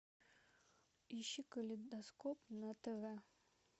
ищи калейдоскоп на тв